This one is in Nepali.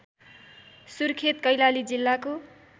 सुर्खेत कैलाली जिल्लाको